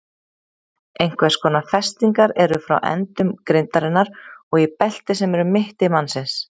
Einhvers konar festingar eru frá endum grindarinnar og í belti sem er um mitti mannsins.